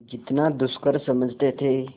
जितना दुष्कर समझते थे